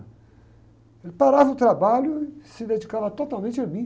Ele parava o trabalho e se dedicava totalmente a mim.